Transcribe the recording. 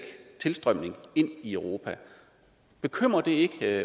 en tilstrømning ind i europa bekymrer det ikke